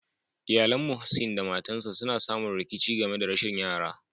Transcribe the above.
Iyallen Muhseen da matan sa suna samu rikici game da rashin yara.